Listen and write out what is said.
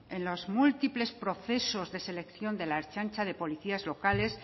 en los múltiples procesos de selección de la ertzaintza de policías locales